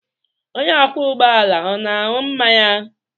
Onye ọkwọ ụgbọ ala ọ na-aṅụ mmanya?